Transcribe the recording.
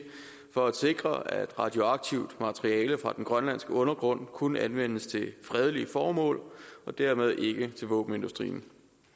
for at sikre at radioaktivt materiale fra den grønlandske undergrund kun anvendes til fredelige formål og dermed ikke til våbenindustrien